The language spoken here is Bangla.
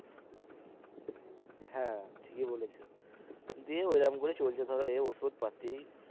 হ্যা ঠিকই বলেছো দিয়ে ওই রকম করে চলছে ধরো এ ওষুধপাতি।